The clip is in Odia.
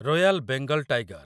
royal Bengal tiger